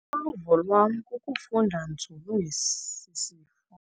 Uluvo lwam kukufunda nzulu ngesi sifo.